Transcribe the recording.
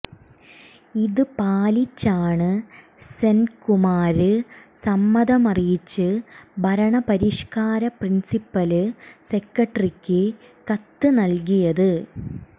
ഇത് പാലിച്ചാണ് സെന്കുമാര് സമ്മതമറിയിച്ച് ഭരണ പരിഷ്കാര പ്രിന്സിപ്പല് സെക്രട്ടറിക്ക് കത്ത് നല്കിയത്